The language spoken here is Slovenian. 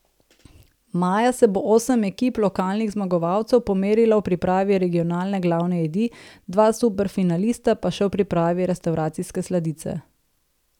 Maja se bo osem ekip, lokalnih zmagovalcev, pomerilo v pripravi regionalne glavne jedi, dva superfinalista pa še v pripravi restavracijske sladice.